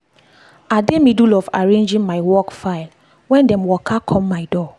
i dey middle of arranging my work file when dem waka come my door.